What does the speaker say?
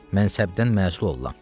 Mənsəbdən məsul olaram.